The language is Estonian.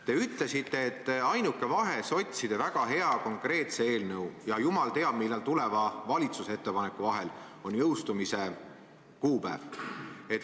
Te ütlesite, et ainuke vahe sotside väga hea ja konkreetse eelnõu ja jumal teab millal tuleva valitsuse ettepaneku vahel on jõustumise kuupäev.